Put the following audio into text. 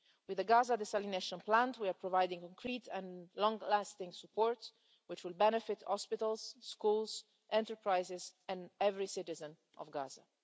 With the Gaza desalination plant we are providing concrete and long-lasting support which will benefit hospitals, schools, enterprises and every citizen of Gaza.